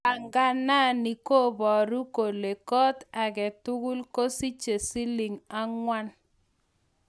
panganani koobaru kole go-ot agetugul kosiche siling angwan